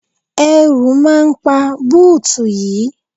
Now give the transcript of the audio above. Ẹ̀rù máa pa búùtù yìí.